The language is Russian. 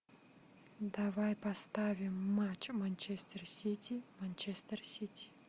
давай поставим матч манчестер сити манчестер сити